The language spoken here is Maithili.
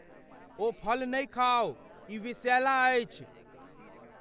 ओ फल नहि खाउ। ई विषैला अछि।